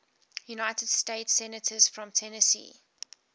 united states senators from tennessee